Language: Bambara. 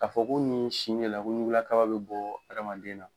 Ka fɔ ko ni si de la ko ɲguula kaba bɛ bɔ hadamaden na .